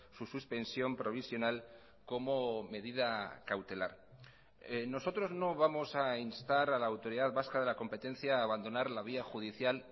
su suspensión provisional como medida cautelar nosotros no vamos a instar a la autoridad vasca de la competencia a abandonar la vía judicial